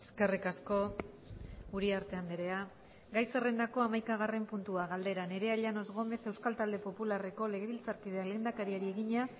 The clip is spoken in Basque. eskerrik asko uriarte andrea gai zerrendako hamaikagarren puntua galdera nerea llanos gómez euskal talde popularreko legebiltzarkideak lehendakariari egina